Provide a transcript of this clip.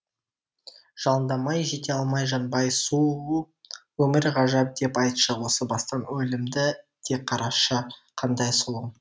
жалындамай жете алмай жанбай суу өмір ғажап деп айтшы осы бастан өлімді де қарашы қандай сұлу